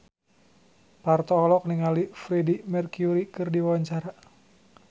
Parto olohok ningali Freedie Mercury keur diwawancara